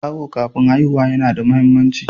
Awo kafin haihuwa yana da muhimmanci.